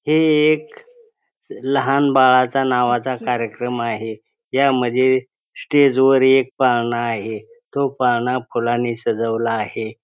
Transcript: हे एक लहान बाळाचा नावाचा कार्यक्रम आहे यामध्ये स्टेज वर एक पाळणा आहे तो पाळणा फुलांनी सजवला आहे.